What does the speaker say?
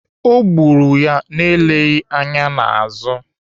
Ọ gburu ya na-eleghị anya n'azụ.